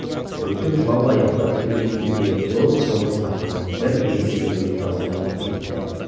көптің жылауы аяқтап келген кезде зор қоңыр сарынмен бір ересек әйел дауыс айтып кетті